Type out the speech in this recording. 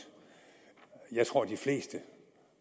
jeg tror at de fleste